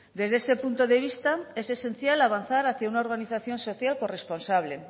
desde ese punto de vista es esencial avanzar hacia una organización social corresponsable